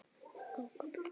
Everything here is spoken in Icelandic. Ákvað að skrifa seinna.